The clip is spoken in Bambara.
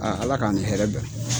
ALA k'an ni hɛrɛ bɛn.